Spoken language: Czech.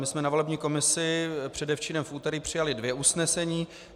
My jsme na volební komisi předevčírem v úterý přijali dvě usnesení.